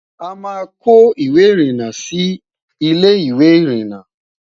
àmá kò ìwé irina Sí Ilé ìwé irinna